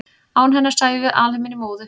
án hennar sæjum við alheiminn í móðu